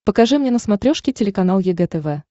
покажи мне на смотрешке телеканал егэ тв